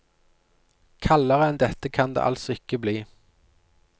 Kaldere enn dette kan det altså ikke bli.